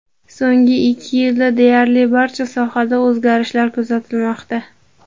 So‘nggi ikki yilda deyarli barcha sohada o‘zgarishlar kuzatilmoqda.